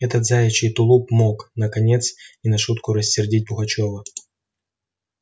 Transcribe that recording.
этот заячий тулуп мог наконец не на шутку рассердить пугачёва